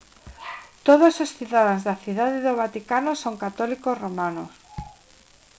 todos os cidadáns da cidade do vaticano son católicos romanos